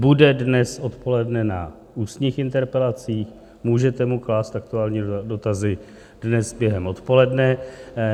Bude dnes odpoledne na ústních interpelacích, můžete mu klást aktuálně dotazy dnes během odpoledne.